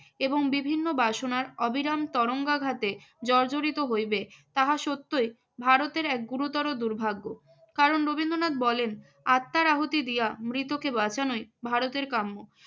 এবং বিভিন্ন বাসনার অবিরাম তরঙ্গাঘাতে জর্জরিত হইবে তাহা সত্যই ভারতের এক গুরুতর দুর্ভাগ্য। কারণ রবীন্দ্রনাথ বলেন, আত্মার আহুতি দিয়া মৃতকে বাঁচানোই ভারতের কাম্য।